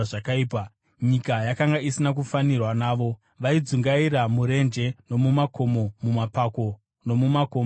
nyika yakanga isina kufanirwa navo. Vaidzungaira murenje nomumakomo, mumapako nomumakomba enyika.